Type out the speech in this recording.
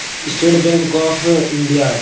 State Bank of India है।